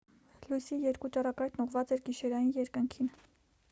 լույսի երկու ճառագայթն ուղղված էր գիշերային երկնքին